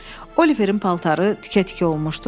Oliverin paltarı tikə-tikə olmuşdu.